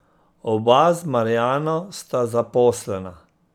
Oba z Marjano sta zaposlena.